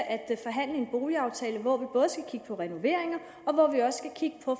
at forhandle en boligaftale hvor vi både skal kigge på renoveringer og hvor vi også skal kigge på